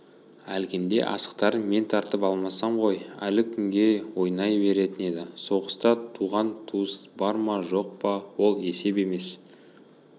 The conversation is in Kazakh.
әлгінде асықтарын мен тартып алмасам ғой әлі күнге ойнай беретін еді соғыста туыс-туғаның бар ма жоқ па ол есеп емес